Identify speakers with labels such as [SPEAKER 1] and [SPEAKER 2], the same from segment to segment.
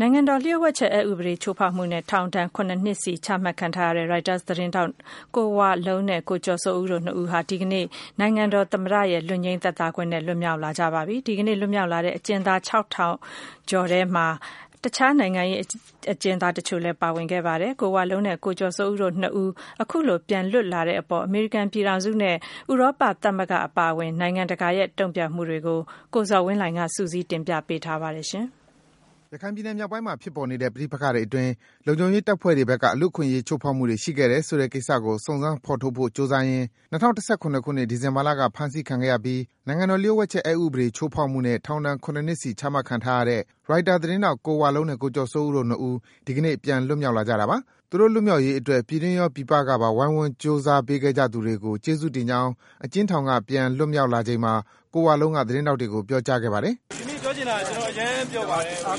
[SPEAKER 1] နိုင်ငံတော်လျှို့ဝှက်ချက်အက်ဥပဒေ ချိုးဖောက်မှုနဲ့ ထောင်ဒဏ် နှစ် ချမှတ်ခံထားရတဲ့ ရိုက်တာသတင်းထောက် ကိုဝလုံးနဲ့ ကိုကျော်စိုးဦးတို့ ၂ ဦးဟာ ဒီကနေ့ နိုင်ငံတော်သမ္မတရဲ့ လွတ်ငြိမ်းချမ်းသာခွင့်နဲ့ လွတ်မြောက်လာကြပါပြီ။ ဒီကနေ့ လွတ်မြောက်လာတဲ့ အကျဉ်းသား ခြောက်ထောင်ကျော်ထဲမှာ တခြား နိုင်ငံရေးအကျဉ်းသား တချို့လည်း ပါဝင်ခဲ့ပါတယ်။ ကိုဝလုံးနဲ့ ကိုကျော်စိုးဦးတို့ ၂ ဦး အခုလို ပြန်လွတ်လာတဲ့အပေါ် အမေရိကန်ပြည်ထောင်စုနဲ့ ဥရောပသမဂ္ဂ အပါအဝင် နိုင်ငံတကာရဲ့ တုန့်ပြန်မှုတွေကိုတော့ ကိုဇော်ဝင်းလှိုင်က စုစည်း တင်ပြပေးထားပါတယ်။
[SPEAKER 2] ရခိုင်ပြည်နယ်မြောက်ပိုင်းမှာ ဖြစ်ပေါ်နေတဲ့ ပဋိပက္ခတွေအတွင်း လုံခြုံရေးတပ်ဖွဲ့တွေဘက်က လူ့အခွင့်အရေး ချိုးဖောက်မှုတွေ ရှိခဲ့တယ်ဆိုတဲ့ကိစ္စကို စုံစမ်း ဖော်ထုတ်ဖို့ ကြိုးစားရင်း ၂၀၁၇ ခုနှစ်၊ ဒီဇင်ဘာလက ဖမ်းဆီးခံခဲ့ရပြီး နိုင်ငံတော် လျှို့ဝှက်ချက်အက်ဥပဒေ ချိုးဖောက်မှုနဲ့ ထောင်ဒဏ် နှစ်စီ ချမှတ်ခံထားရတဲ့ ရိုက်တာသတင်းထောက် ကိုဝလုံးနဲ့ ကိုကျော်စိုးဦးတို့ ၂ ဦး ဒီကနေ့ ပြန်လွတ်မြောက်လာကြတာပါ။ သူတို့ လွတ်မြောက်ရေးအတွက် ပြည်တွင်းရော၊ ပြည်ပကပါ ဝိုင်းဝန်း ကြိုးစားပေးခဲ့ကြသူတွေကို ကျေးဇူးတင်ကြောင်း အကျဉ်းထောင်က ပြန်လည် လွတ်မြောက်လာချိန်မှာ ကိုဝလုံးက သတင်းထောက်တွေကို ပြောကြားခဲ့ပါတယ်။ ကျနော်အရမ်းပျော်ပါတယ်။ ကျနော်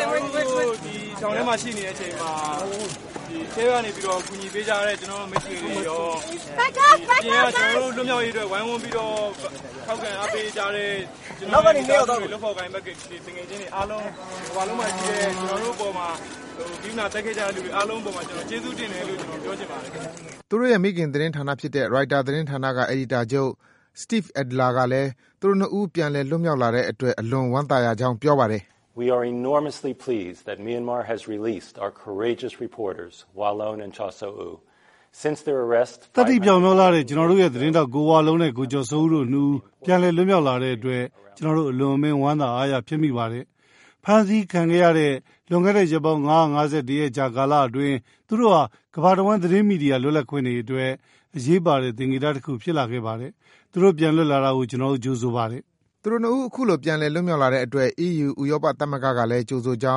[SPEAKER 2] တို့ဒီ ထောင်ထဲမှာ ရှိနေတဲ့အချိန်မှာ အထဲကနေပြီးတော့ ကူညီပေးကြတဲ့ ကျနေ်ာတို့ မိတ်ဆွေတွေရော အပ
[SPEAKER 1] ြင်က ကျနော်တို့ လွတ်မြော
[SPEAKER 2] က်ရေးအတွက် ဝိုင်းဝန်းပြီးတော့ ထောက်ခံအားပေးကြတဲ့ ကျနော်တို့ရဲ့ လုပ်ဖော်ကိုင်ဘက်တွေရော ၊ သူငယ်ချင်းတွေအားလုံး တကမ္ဘာလုံးမှာရှိတဲ့ ကျနော်တို့အပေါ်မှာ ဂရုဏာသက်ခဲ့ကြတဲ့ လူတွေအားလုံးအပေါ်မှာ ကျနော်တို့ကျေးဇူးတင်တယ်လို့ သူတို့ရဲ့ မိခင်သတင်းဌာနဖြစ်တဲ့ ရိုက်တာသတင်းဌာန အယ်ဒီတာချုပ် Steve Adler ကလည်း သူတို့ ၂ ဦး လွတ်မြောက်လာတဲ့အတွက် အလွန်ဝမ်းသာရကြောင်း ပြောပါတယ်။ ကျနော်တို့ရဲ့ သတင်းထောက် ကိုဝလုံးနဲ့ ကိုကျော်စိုးဦးတို့ ၂ ဦး ပြန်လည် လွတ်မြောက် လာတဲ့အတွက် ကျနော်တို့ အလွန်အမင်း ဝမ်းသာအားရ ဖြစ်မိပါတယ်။ ဖမ်းဆီးခံခဲ့ရတဲ့ လွန်ခဲ့တဲ့ ရက်ပေါင်း ၅၁၁ ရက်ကြာ ကာလအတွင်း သူတို့ဟာ ကမ္ဘာတဝှမ်း သတင်းမီဒီယာ လွတ်လပ်ခွင့်အတွက် အရေးပါတဲ့သင်္ကေတ တခု ဖြစ်လာခဲ့ပါတယ်။ သူတို့ ပြန်လွတ်လာတာကို ကျနော်တို့ သူတို့ ၂ ဦး အခုလို ပြန်လည် လွတ်မြောက်လာတဲ့အတွက် အီးယူ ဥရောပသမဂ္ဂကလည်း ကြိုဆိုကြော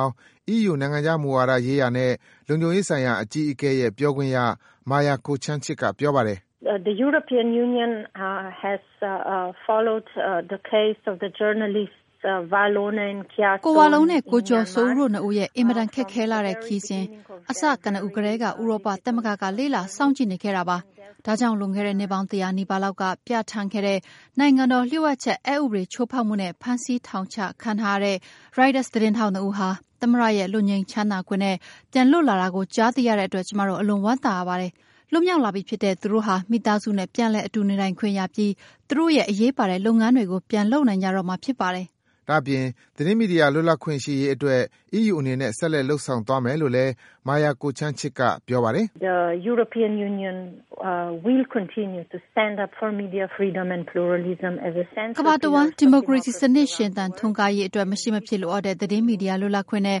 [SPEAKER 2] င်း အီးယူ နိုင်ငံခြားမူဝါဒရေးရာနဲ့ လုံခြုံရေးဆိုင်ရာအကြီးအကဲရဲ့ ပြောခွင့်ရ Maja Kocijancic က ပြောပါတယ်။
[SPEAKER 1] ကိုကျော်စိုးဦးတို့ ၂ ဦးရဲ့ အင်မတန် ခက်ခဲလှတဲ့ ခရီးစဉ် အစကနဦးကတည်းက ဥရောပသမဂ္ဂက လေ့လာ စောင့်ကြည့်နေခဲ့တာပါ။ ဒါကြောင့် လွန်ခဲ့တဲ့ နှစ်ပေါင်း ၁၀၀ နီးပါးလောက်က ပြဌာန်းခဲ့တဲ့ နိုင်ငံတော်လျှို့ဝှက်ချက်အက်ဥပဒေ ချိုးဖောက်မှုနဲ့ ဖမ်းဆီး ထောင်ချခံထားရတဲ့ ရိုက်တာ သတင်းထောက် ၂ ဦးဟာ သမ္မတရဲ့ လွတ်ငြိမ်းချမ်းသာခွင့်နဲ့ ပြန်လွတ်လာတာကို ကြားသိရတဲ့အတွက် ကျမတို့ အလွန် ဝမ်းသာရပါတယ်။ လွတ်မြောက်လာပြီဖြစ်တဲ့ သူတို့ဟာ မိသားစုနဲ့ ပြန်လည် အတူနေထိုင်ခွင့်ရပြီး သူတို့ရဲ့ အရေးပါတဲ့လုပ်ငန်းတွေကို ပြန်လုပ်နိုင်ကြတော့မှာ ဒါ့
[SPEAKER 2] အပြင် သတင်းမီဒီယာ လွတ်လပ်ခွင့်ရှိရေးအတွက် အီးယူအနေနဲ့ ဆက်လက် လုပ်ဆောင်သွားမယ်လို့လည်း Maja Kocijancic က ပြောပါတယ်။
[SPEAKER 1] ဒီမိုကရေစီစနစ် ရှင်သန်ထွန်းကားရေးအတွက် မရှိမဖြစ်လိုအပ်တဲ့ သတင်းမီဒီယာ လွတ်လပ်ခွင့်နဲ့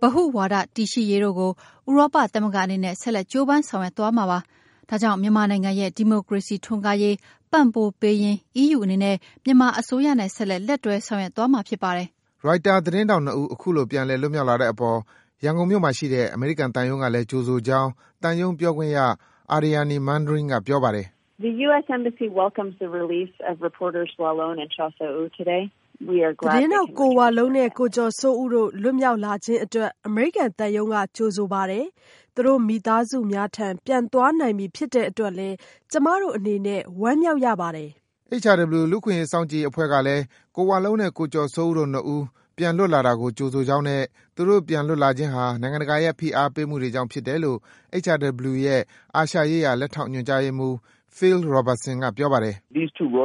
[SPEAKER 1] ဗဟုဝါဒ တည်ရှိရေးတို့ကို ဥရောပသမဂ္ဂအနေနဲ့ ဆက်လက် ကြိုးပမ်းဆောင်ရွက်သွားမှာပါ။ ဒါကြောင့် မြန်မာနိုင်ငံရဲ့ ဒီမိုကရေစီထွန်းကားရေးပံ့ပိုးပေးရင်း အီးယူအနေနဲ့ မြန်မာအစိုးရနဲ့ ဆက်လက် လက်တွဲဆောင်ရွက်သွားမှာ
[SPEAKER 2] ရိုက်တာ သတင်းထောက် ၂ ဦး အခုလို ပြန်လည် လွတ်မြောက်လာတဲ့အပေါ် ရန်ကုန်မြို့မှာရှိတဲ့ အမေရိကန်သံရုံးကလည်း ကြိုဆိုကြောင်း သံရုံးပြောခွင့်ရ Aryani Manring က ပြောပါတယ်။ ကိ
[SPEAKER 1] ုဝလုံးနှင့် ကိုကျော်စိုးဦးတို့ လွှတ်မြောက်လာခြင်းအတွက် အမေရိကန်သံရုံးက ကြိုဆိုပါတယ်။ သူတို့ မိသားစုများထံ ပြန်သွားနိုင်ပြီ ဖြစ်တဲ့အတွက်လည်း ကျမတို့အနေနဲ့
[SPEAKER 2] HRW လူ့အခွင့်အရေးစောင့်ကြည့်ရေးအဖွဲ့ကလည်း ကိုဝလုံးနဲ့ ကိုကျော်စိုးဦးတို့ ၂ ဦး ပြန်လွတ်လာတာကို ကြိုဆိုကြောင်းနဲ့ သူတို့ ပြန်လွတ်လာခြင်းဟာ နိုင်ငံတကာရဲ့ ဖိအားပေးမှုတွေကြောင့်ဖြစ်တယ်လို့ HRW ရဲ့ အာရှရေးရာ လက်ထောက်ညွန်ကြားရေးမှူး Phil Robertson က ပြောပါတယ်
[SPEAKER 1] ။ ရိုက်တာ သတင်းထောက် ၂ ဦးဟာ နိ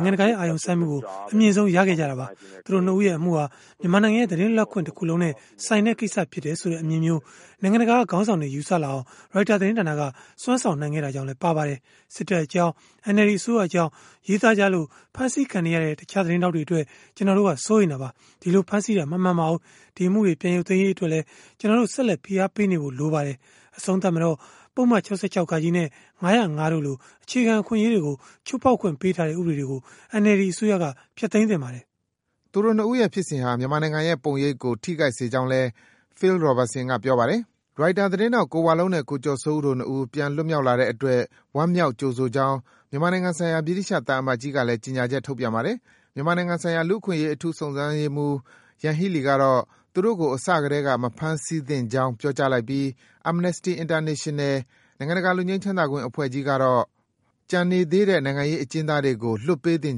[SPEAKER 1] ုင်ငံတကာရဲ့ အာရုံစိုက်မှုကို အမြင့်ဆုံး ရရှိခဲ့ကြတာပါ။ သူတို့ ၂ ဦးရဲ့အမှုဟာ မြန်မာနိုင်ငံရဲ့ သတင်းလွတ်လပ်ခွင့်တခုလုံးနဲ့ဆိုင်တဲ့ ကိစ္စဖြစ်တယ်ဆိုတဲ့ အမြင်မျိုး နိုင်ငံတကာက ခေါင်းဆောင်တွေ ယူဆလာအောင် ရိုက်တာသတင်းဌာနက စွမ်းဆောင် နိုင်ခဲ့တာကြောင့်လည်း ပါပါတယ်။ စစ်တပ်အကြောင်း၊ NLD အစိုးရအကြောင်း ရေးသားကြလို့ ဖမ်းဆီးခံနေရတဲ့ တခြား သတင်းထောက်တွေအတွက် ကျနော်တို့က စိုးရိမ်တာပါ။ အဲဒီလို ဖမ်းဆီးတာ မမှန်ပါဘူး။ အဲဒီ အမှုတွေ ပြန်ရုပ်သိမ်းပေးရေးအတွက်လည်း ကျနော်တို့ ဆက်လက် ဖိအားပေးနေဖို့ လိုပါတယ်။ အဆုံးသတ်မှာတော့ ပုဒ်မ ၆၆ နဲ့ ၅၀၅ တို့လို အခြေခံ အခွင့်အရေးတွေကို ချိုးဖောက်ခွင့်ပေးထားတဲ့ ဥပဒေတွေကို NLD အစိုးရက
[SPEAKER 2] သူတို့ ၂ ဦးရဲ့ ဖြစ်စဉ်ဟာ မြန်မာနိုင်ငံရဲ့ ပုံရိပ်ကို ထိခိုက်စေကြောင်းလည်း Phil Robertson က ပြောပါတယ်။ ရိုက်တာသတင်းထောက် ကိုဝလုံးနဲ့ ကိုကျော်စိုးဦးတို့ ၂ ဦး ပြန်လွတ်လာတဲ့အတွက် ဝမ်းမြောက်၊ ကြိုဆိုကြောင်း မြန်မာနိုင်ငံဆိုင်ရာ ဗြိတိသျှ သံအမတ်ကြီးကလည်း ကြေညာချက် ထုတ်ပြန်ပါတယ်။ မြန်မာနိုင်ငံဆိုင်ရာ လူ့အခွင့်အရေး အထူးစုံစမ်းရေးမှူး ယန်ဟီးလီကတော့ သူတို့ကို အစကတည်းက မဖမ်းဆီးသင့်ကြောင်း ပြောကြားလိုက်ပြီး၊ Amnesty International နိုင်ငံတကာ လွတ်ငြိမ်းချမ်းသာခွင့်အဖွဲ့ကြီးတို့ကတော့ ကျန်နေသေးတဲ့ နိုင်ငံရေး အကျဉ်းသားတွေကို လွတ်ပေးသင့်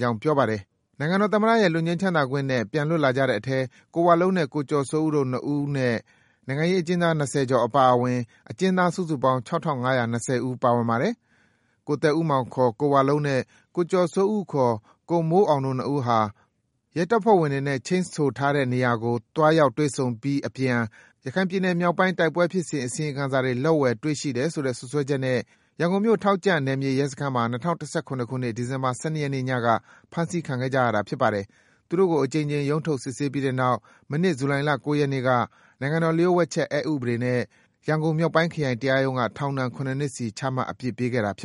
[SPEAKER 2] ကြောင်း ပြောပါတယ်။ နိုင်ငံတော်သမ္မတရဲ့ လွတ်ငြိမ်းချမ်းသာခွင့်နဲ့ ပြန်လွတ်လာကြတဲ့အထဲ ကိုဝလုံးနဲ့ ကိုကျော်စိုးဦးတို့ ၂ ဦးအပြင် နိုင်ငံရေးအကျဉ်းသား ၂၀ ကျော်အပါအဝင် အကျဉ်းသား စုစုပေါင်း ၆၅၂၀ ဦး ပါဝင်ပါတယ်။ ကိုသက်ဦးမောင် ကိုဝလုံး နဲ့ ကိုကျော်စိုးဦး ကိုမိုးအောင်တို့ ၂ ဦးဟာ ရဲတပ်ဖွဲ့ဝင်တွေနဲ့ ချိန်းဆိုထားတဲ့နေရာကို သွားရောက် တွေ့ဆုံပြီး အပြန် ရခိုင်ပြည်နယ်မြောက်ပိုင်း တိုက်ပွဲဖြစ်စဉ် အစီရင်ခံစာတွေ လက်ဝယ်တွေ့ရှိတယ်ဆို စွပ်စွဲချက်နဲ့ ရန်ကုန်မြို့၊ ထောက်ကြန့်နယ်မြေရဲစခန်းမှာ ၂၀၁၇ ခုနှစ် ဒီဇင်ဘာလ ၁၂ရက်နေ့ ညက ဖမ်းဆီးခံခဲ့ကြရတာ ဖြစ်ပါတယ်။ သူတို့ကို အကြိမ်ကြိမ် ရုံးထုတ်စစ်ဆေးပြီးတဲ့နောက် မနှစ် ဇူလိုင်လ ၉ရက်နေ့က နိုင်ငံတော်လျှို့ဝှက်ချက်အက်ဥပဒေနဲ့ ရန်ကုန်မြောက်ပိုင်းခရိုင်တရားရုံးက ထောင်ဒဏ် စီ ချမှတ် အပြစ်ပေးခဲ့တာပါ